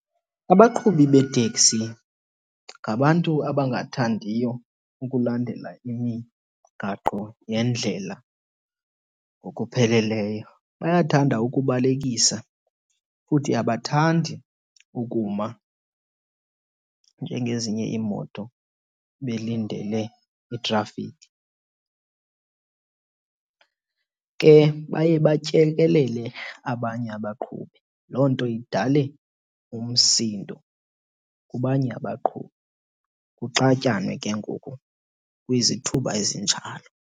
Abaqhubi beeteksi ngabantu abangathandiyo ukulandela imigaqo yendlela ngokupheleleyo. Bayathanda ukubalekisa futhi abathandi ukuma njengezinye iimoto belindele itrafikhi. Ke baye batyelelele abanye abaqhubi, loo nto idale umsindo kubanye abaqhubi. Kuxatyanwe ke ngoku kwizithuba ezinjalo.